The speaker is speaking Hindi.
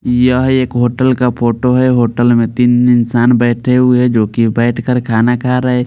यह एक होटल का फोटो है होटल में तीन इंसान बैठे हुए है जो कि बैठकर खाना खा रहे।